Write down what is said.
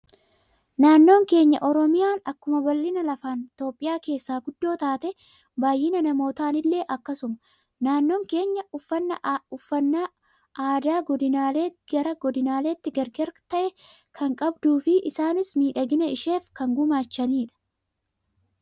Naannoon keenya Oromiyaan akkuma bal'ina lafaan Itoophiyaa keessaa guddoo taate, baayyina namootaa illee akkasuma. Naannoo keenya uffannaa aadaa godinaalee gara godinaaleetti gargar ta'e kan qabduu fi isaanis miidhagina isheef kan gumaachanidha.